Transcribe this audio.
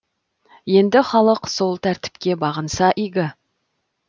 енді халық сол тәртіпке бағынса игі